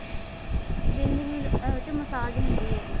cleansing ਉਹ ਚ massage ਹੁੰਦੀ ਹੈਗੀ